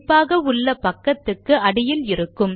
அது குறிப்பாக உள்ள பக்கத்துக்கு அடியில் இருக்கும்